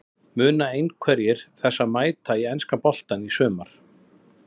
Munu einhverjir þessara mæta í enska boltann í sumar?